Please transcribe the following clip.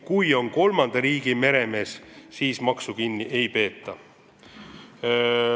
Kui töötaja on kolmanda riigi meremees, siis maksu kinni ei peeta.